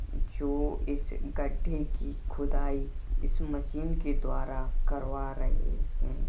जो इस गड्ढे की खुदाई इस मशीन के द्वारा करवा रहे हैं।